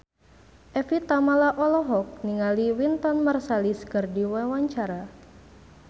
Evie Tamala olohok ningali Wynton Marsalis keur diwawancara